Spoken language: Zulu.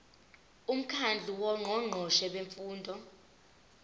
umkhandlu wongqongqoshe bemfundo